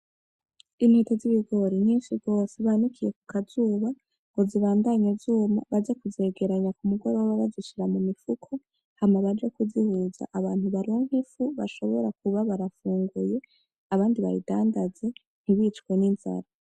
Intete z'ibigori nyinshi gose banikiye kukazuba, ngo zibandanye zuma ngo baze kuzegeranya k'umugoroba bazishira mu mifuko hama baje kuzihuza hanyuma baronk' ifu ngo bashobore kuba barafungura, abandi bayidandaze ntibicwe n'inzara.